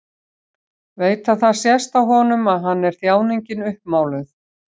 Veit að það sést á honum að hann er þjáningin uppmáluð.